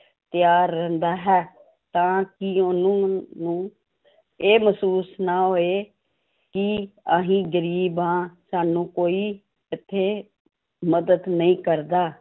ਤਿਆਰ ਰਹਿੰਦਾ ਹੈ ਤਾਂ ਕਿ ਉਹਨਾਂ ਨੂੰ ਇਹ ਮਹਿਸੂਸ ਨਾ ਹੋਏ ਕਿ ਅਸੀਂ ਗ਼ਰੀਬ ਹਾਂ ਸਾਨੂੰ ਕੋਈ ਇੱਥੇ ਮਦਦ ਨਹੀਂ ਕਰਦਾ।